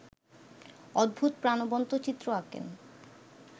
অদ্ভুত প্রাণবন্ত চিত্র আঁকেন